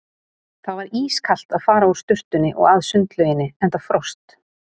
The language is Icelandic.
Það var ískalt að fara úr sturtunni og að sundlauginni enda frost.